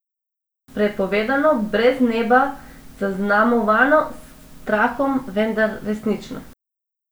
Prepovedano, brez neba, zaznamovano s strahom, vendar resnično.